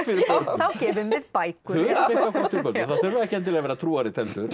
þá gefum við bækur það þurfa ekki að vera trúarrit heldur